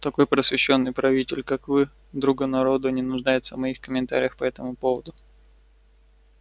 такой просвещённый правитель как вы друга народа не нуждается в моих комментариях по этому поводу